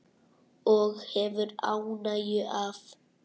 Og hefur ánægju af.